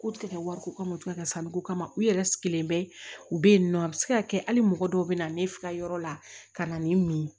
K'u tɛ kɛ wariko kama o tɛ ka sanniko kama u yɛrɛ sigilen bɛ u bɛ yen nɔ a bɛ se ka kɛ hali mɔgɔ dɔw bɛ na ne ka yɔrɔ la ka na ni mun ye